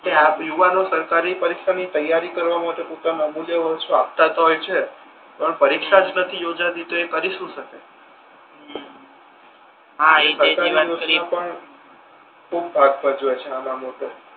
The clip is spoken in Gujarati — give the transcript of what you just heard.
ના આમ યુવાનો સરકારી પરીક્ષા ની તૈયારી કરવા માટે પોતાના અમૂલ્ય વર્ષ આપતા તો હોય છે પણ પરીક્ષા જ નથી યોજાતી તો એ કરી શુ શકે ખૂબ ભાગ ભજવે છે નાનો મોટો